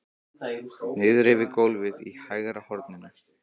Niðri við gólfið í hægra horninu!